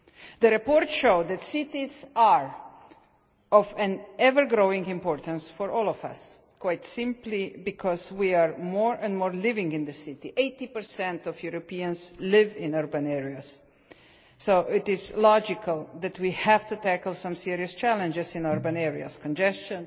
The report showed that cities are of an ever-growing importance for all of us, quite simply because more and more of us are living in the city 80 of Europeans live in urban areas. So it is logical that we have to tackle some serious challenges in urban areas congestion,